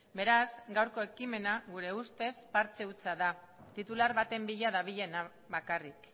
beraz gaurko ekimena gure ustez partxe hutsa da titular baten bila dabilena bakarrik